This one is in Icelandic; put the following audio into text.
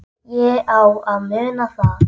Ég á að muna það.